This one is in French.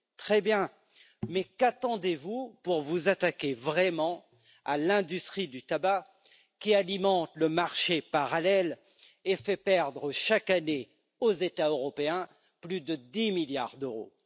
Très bien, mais qu'attendez vous pour vous attaquer vraiment à l'industrie du tabac, qui alimente le marché parallèle et fait perdre chaque année aux États européens plus de 10 milliards d'euros?